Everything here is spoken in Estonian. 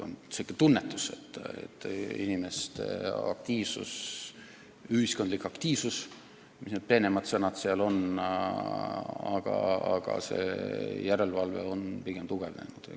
On tunda, et inimeste aktiivsus, ühiskondlik aktiivsus – või mis need peenemad sõnad kõik on – on kasvanud ja see järelevalve on pigem tugevnenud.